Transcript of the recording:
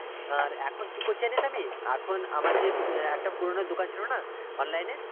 আর এখন কি করছি জানিস আমি? এখন আমার যে একটা আহ পুরোনো দোকান ছিল না online র?